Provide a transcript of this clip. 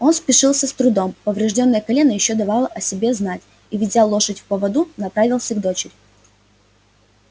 он спешился с трудом повреждённое колено ещё давало о себе знать и ведя лошадь в поводу направился к дочери